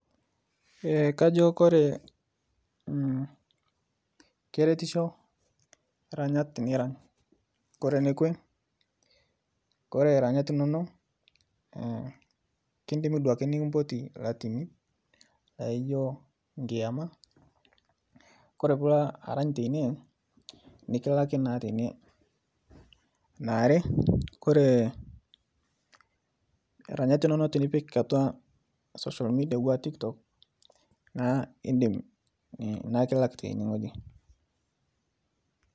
Kajo kore keretisho iranyat nirany kore nekwe kore ranyat inonok kindimi duoake nikimpoti latimi ejo nkiama ore ijo aranya teine nikilaki naa teine are kore iranyat inono tenipik atua social media anaa tiktok naa indim nikilak teine wueji